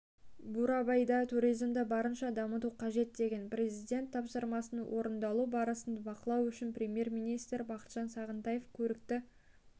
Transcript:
бурабайда туризмді барынша дамыту қажет деген президент тапсырмасының орындалу барысын байқау үшін премьер-министр бақытжан сағынтаев көрікті